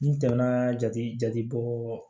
N tɛmɛna jate jate bɔ